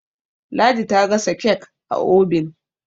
ladi ta gasa kek a obin